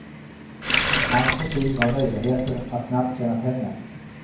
Hans motiv var möjligheten att snabbt tjäna pengar.